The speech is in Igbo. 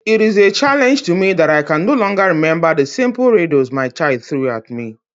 It is a challenge to me that I can no longer remember the simple riddles my child threw at me.